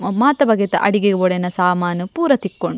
ಮಾತ ಬಗೆತ ಅಡಿಗೆಗ್ ಬೋಡಾಯಿನ ಸಾಮನ್ ಪೂರ ತಿಕ್ಕುಂಡು.